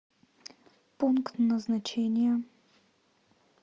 пункт назначения